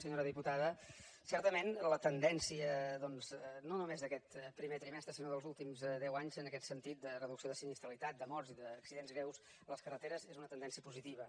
senyora diputada certament la tendència doncs no només d’aquest primer trimestre sinó dels últims deu anys en aquest sentit de reducció de sinistralitat de morts i d’accidents greus a les carreteres és una tendència positiva